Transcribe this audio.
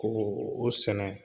Koo o sɛnɛ